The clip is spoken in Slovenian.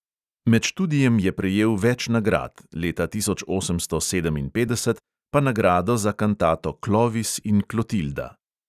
Med študijem je prejel več nagrad, leta tisoč osemsto sedeminpetdeset pa nagrado za kantato klovis in klotilda.